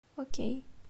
окей